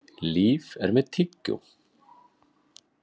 Líf er með tyggjó.